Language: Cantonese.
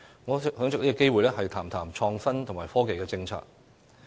我想藉此機會談談有關創新及科技的政策。